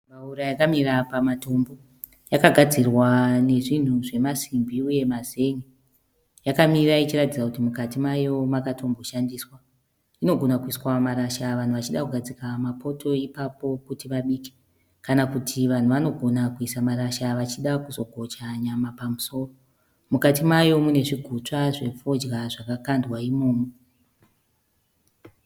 Mbaura yakamira pamatombo. Yakagadzirwa nezvinhu zvemasimbi uye mazen'e. Yamamira ichiratidza kuti mukati mayo makatomboshandiswa. Inogona kuiswa marasha vanhu vachida kugadzika mapoto ipapo kuti vabike. Kana kuti vanhu vanogona kuisa marasha vachida kugocha nyama pamusoro. Mukati mayo mune zvigutswa zvefodya zvakandwa imomo.